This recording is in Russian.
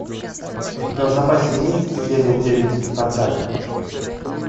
у тебя в запасе есть серия девять спартак